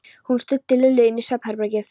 Hún studdi Lillu inn í svefnherbergið.